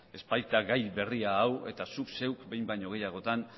ez baita gai berria hau eta zuk zeuk behin baino gehiagotan